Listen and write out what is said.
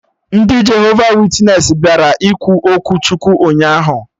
Ndị Jehova witnesị bịara ikwu okwu Chukwu ụnyaahụ